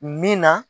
Min na